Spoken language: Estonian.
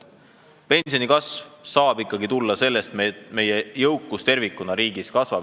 Pensionikasv saab ikkagi tulla tänu sellele, et meie jõukus riigis tervikuna kasvab.